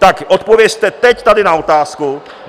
Tak odpovězte teď tady na otázku.